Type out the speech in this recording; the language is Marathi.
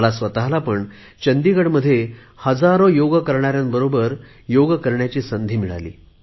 मला पण चंदीगडमध्ये हजारो योग करणाऱ्यांबरोबर योग करण्याची संधी मिळाली